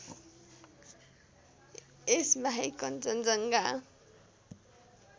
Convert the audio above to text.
यस बाहेक कञ्चनजङ्घा